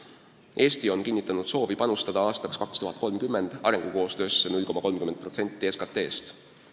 Eesti on kinnitanud soovi panustada aastaks 2030 arengukoostöösse 0,33% SKT-st.